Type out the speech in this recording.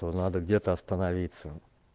то надо где-то остановиться